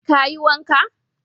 Ka yi wanka?